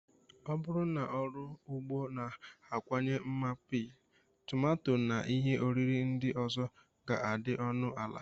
Ọ bụrụ na ọrụ ugbo na-akawanye mma, pii, tomato, na ihe oriri ndị ọzọ ga-adị ọnụ ala.